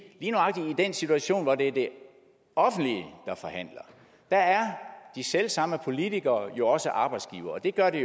den situation hvor det er det offentlige der forhandler er de selv samme politikere jo også arbejdsgivere og det gør det